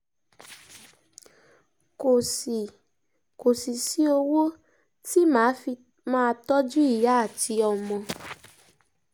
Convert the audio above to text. kò sì kò sì sí owó tí mà á fi máa tọ́jú ìyá àti ọmọ